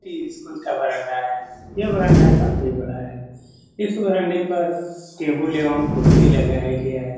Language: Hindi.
इ स्कूल का वरांडा है यह वरांडा काफी बड़ा है इस वरांडे पर टेबल एवं कुर्सी लगाया गया है।